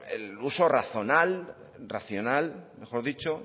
el